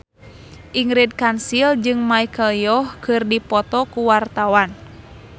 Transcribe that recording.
Ingrid Kansil jeung Michelle Yeoh keur dipoto ku wartawan